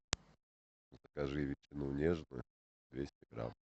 закажи ветчину нежную двести грамм